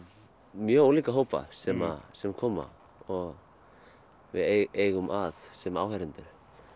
mjög ólíka hópa sem sem koma og við eigum að sem áheyrendur